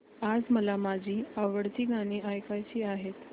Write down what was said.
आज मला माझी आवडती गाणी ऐकायची आहेत